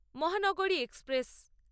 মহানগরী এক্সপ্রেস